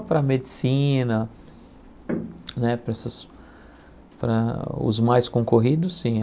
Só para medicina né, para essas para os mais concorridos, sim.